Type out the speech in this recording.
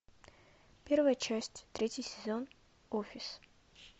первая часть третий сезон офис